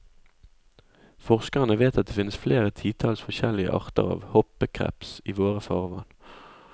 Forskerne vet at det finnes flere titalls forskjellige arter av hoppekreps i våre farvann.